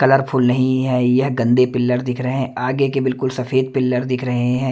Colourful नहीं है। यह गंदे पिल्लर दिख रहे हैं आगे के बिल्कुल सफेद पिल्लर दिख रहे है।